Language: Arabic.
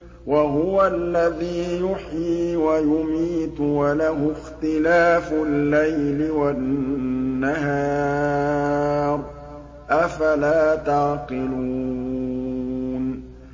وَهُوَ الَّذِي يُحْيِي وَيُمِيتُ وَلَهُ اخْتِلَافُ اللَّيْلِ وَالنَّهَارِ ۚ أَفَلَا تَعْقِلُونَ